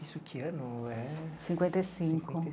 Isso que ano é? Cinquenta e cinco.